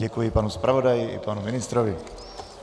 Děkuji panu zpravodaji i panu ministrovi.